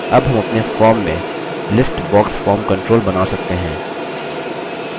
अब हम अपने form में list box form control now सकते हैं